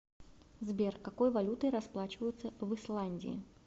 сбер какой валютой расплачиваются в исландии